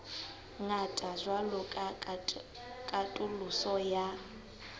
ngata jwalo ka katoloso ya